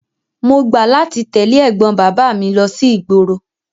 Mo gbà láti tẹ̀lé ẹ̀gbọ́n bàbá mi lọ sí ìgboro.